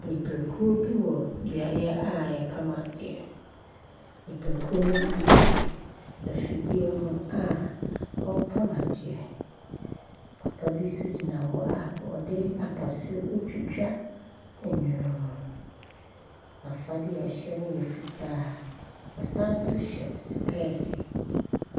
Nnipakuo bi wɔ beaeɛ a yɛpam adeɛ. Nnipakuo ne bi te afidie ho a wɔpam adeɛ. Papa bi nso gyina hɔ a ɔde apaso etwetwa nneɛma. Nafade a ɛhyɛ no yɛ fitaa. Ɔsan so hyɛ supɛɛsi.